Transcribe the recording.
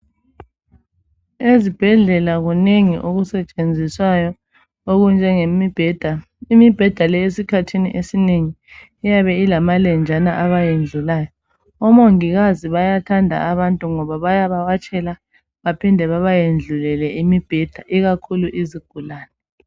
Ezibhedlela kunengi okusetshenziswayo okunjenge mibheda. Imibheda leyi esikhathini esinengi iyabe ilamalenjana abawayendlulayo. Omongikazi bayathanda abantu ngoba bayabawatshela baphinde babayendlulele imibheda ikakhulu izigulane.